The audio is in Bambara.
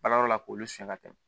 Baarayɔrɔ la k'olu siɲɛ ka tɛmɛ